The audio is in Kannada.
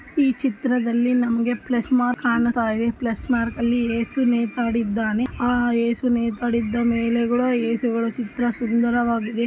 ಈ ಚಿತ್ರದಲ್ಲಿ ನಮಗೆ ಪ್ಲಸ್ ಮಾರ್ಕ ಕಾಣ್ತಾಯಿದೆ ಪ್ಲಸ್ ಮಾರ್ಕ್ ನಲ್ಲಿ ಎಸು ನೇತಾಡಿದ್ದಾನೆ .ಎಸು ನೇತಾಡಿದ್ದಾನೆ .ಮೇಲೆ ಚಿತ್ರಗಳು ಸುಂದರವಾಗಿದೆ .